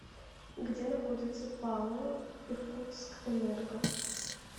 где находится пао иркутскэнерго